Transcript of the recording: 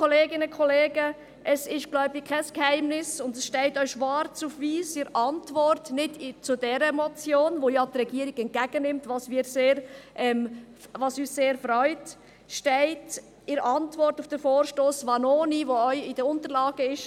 Es ist kein Geheimnis und es steht auch schwarz auf weiss, zwar nicht in der Antwort auf die vorliegende Motion, welche die Regierung ja entgegennimmt, was uns sehr freut, sondern in jener auf die Interpellation Vanoni , die Sie ebenfalls in den Unterlagen finden.